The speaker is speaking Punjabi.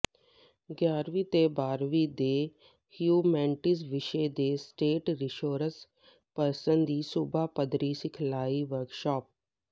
ਗਿਆਰ੍ਹਵੀਂ ਤੇ ਬਾਰ੍ਹਵੀਂ ਦੇ ਹਿਊਮੈਨਟੀਜ਼ ਵਿਸ਼ੇ ਦੇ ਸਟੇਟ ਰਿਸੋਰਸ ਪਰਸਨ ਦੀ ਸੂਬਾ ਪੱਧਰੀ ਸਿਖਲਾਈ ਵਰਕਸ਼ਾਪ